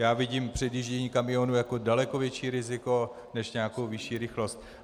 Já vidím předjíždění kamionů jako daleko větší riziko než nějakou vyšší rychlost.